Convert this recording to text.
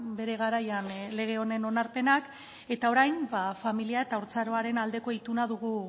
bere garaian lege honen onarpenak eta orain familia eta haurtzaroaren aldeko ituna dugu